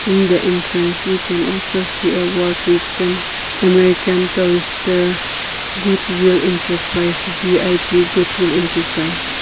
in the entrance we can also see a word written american tourister goodwill enterprise V_I_P goodwill enterprise.